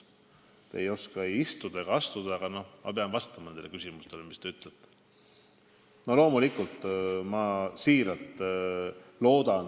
Te ei oska istuda ega astuda, aga mina pean nendele küsimustele vastama.